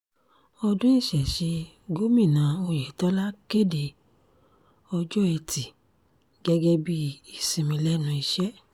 ọdún ìṣẹ̀ṣẹ̀ gómìnà ọ̀yẹ̀tọ́lá kéde ọjọ́ etí gẹ́gẹ́ bíi ìsinmi lẹ́nu iṣẹ́